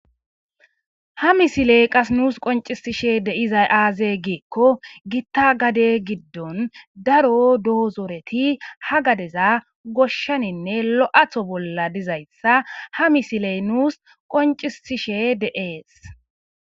Ha misiley qas nuus qoncisishe deiza aaze geekko gitta gade giddon daro doozoreti ha gadeza goshshaninne lo'atho bolla dizayssa ha misiley nuus qoncisishe deees